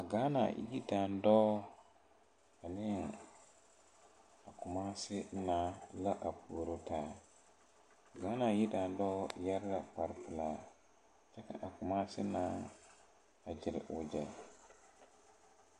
Gaana yie daŋdɔɔ ane a Kumasi naa la puoro taa Gaana yie daŋdɔɔ yɛre la kpare pilaa kyɛ ka a Kumasi naa a Byers wagyɛ.